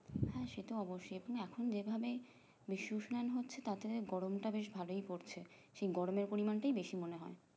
হুম সেটা অবশ্যই তুমি এখন যে ভাবে বিশ্ব উষ্ণয়সন হচ্ছে তাতে যে গরমটা বেশ ভালোই পড়ছে সেই গরমের পরিমান টাই বেশি মনে হয়